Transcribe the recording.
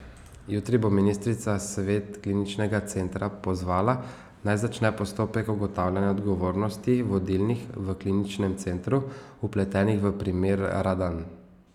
Jutri bo ministrica svet kliničnega centra pozvala, naj začne postopek ugotavljanja odgovornosti vodilnih v kliničnem centru, vpletenih v primer Radan.